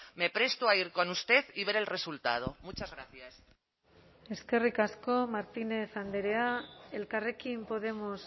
me presto a ir con usted y ver el resultado muchas gracias eskerrik asko martínez andrea elkarrekin podemos